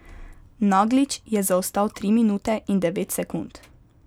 Naglič je zaostal tri minute in devet sekund.